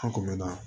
An kun mɛnna